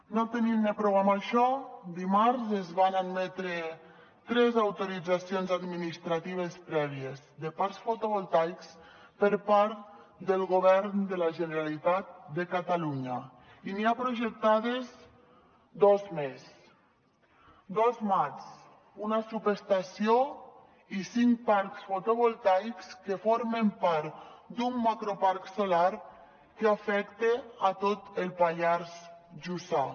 no tenint ne prou amb això dimarts es van admetre tres autoritzacions administratives prèvies de parcs fotovoltaics per part del govern de la generalitat de catalunya i n’hi ha projectades dos més dos mats una subestació i cinc parcs fotovoltaics que formen part d’un macroparc solar que afecta tot el pallars jussà